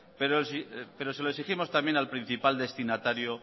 pero se lo exigimos también al principal destinatario